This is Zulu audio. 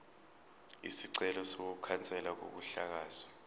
isicelo sokukhanselwa kokuhlakazwa